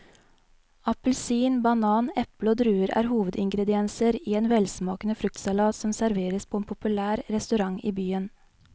Appelsin, banan, eple og druer er hovedingredienser i en velsmakende fruktsalat som serveres på en populær restaurant i byen.